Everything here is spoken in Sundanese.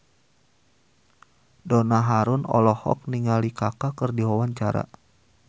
Donna Harun olohok ningali Kaka keur diwawancara